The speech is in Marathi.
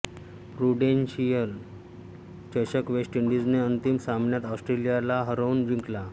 प्रुडेंशियल चषक वेस्ट इंडिज ने अंतिम सामन्यात ऑस्ट्रेलियाला हारवून जिंकला